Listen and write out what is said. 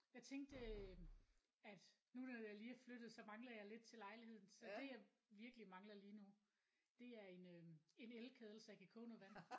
Jeg tænkte øh at nu da jeg lige er flyttet så mangler jeg lidt til lejligheden så det jeg virkelig mangler lige nu det er en øh en elkedel så jeg kan koge noget vand